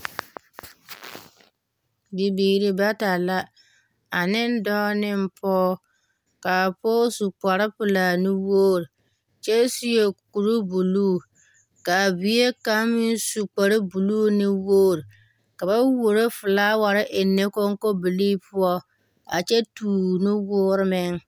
Bibiiri bata la, ane dɔɔ ne pɔɔ. Kaa pɔɔ su kparpelaa nuwoor kyɛ seɛ kuru buluu. Kaa bie kaŋ meŋ su kparbuluu nuwoor, ka ba wooro felaaware ennɛ koŋkobilii poɔa kyɛ tuur ne woor meŋ.